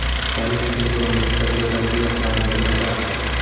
Parij sindromi: Xitoyda yaratilgan Fransiya poytaxti .